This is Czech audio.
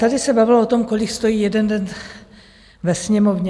Tady se bavilo o tom, kolik stojí jeden den ve Sněmovně.